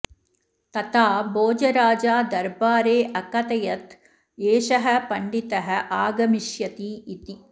तथा भोजराजा दरबारे अकथयत् एषः पण्डितः आगमिष्यति इति